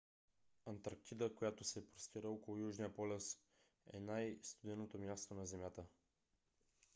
антарктида която се простира около южния полюс е най-студеното място на земята